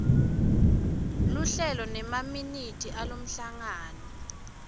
luhlelo nemaminithi alomhlangano